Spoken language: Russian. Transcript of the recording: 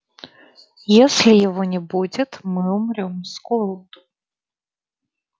если его не будет мы умрём с голоду